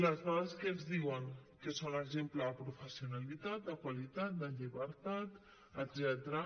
les dades què ens diuen que són exemple de professionalitat de qualitat de llibertat etcètera